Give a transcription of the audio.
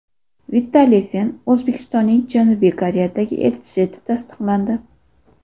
Vitaliy Fen O‘zbekistonning Janubiy Koreyadagi elchisi etib tasdiqlandi.